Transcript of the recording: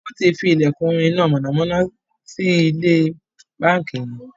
wón tí fí ilekun iná mọ̀nàmọ́ná ní ilé bánkì yen.